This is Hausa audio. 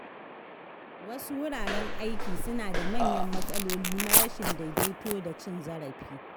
Wasu wuraren aiki suna da manyan matsaloli na rashin daidaito da cin zarafi.